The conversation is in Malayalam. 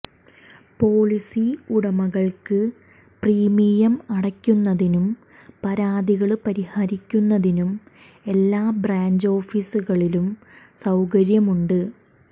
പോളിസി ഉടമകള്ക്ക് പ്രീമിയം അടയ്ക്കുന്നതിനും പരാതികള് പരിഹരിക്കുന്നതിനും എല്ലാ ബ്രാഞ്ച് ഓഫീസുകളിലും സൌകര്യമുണ്ട്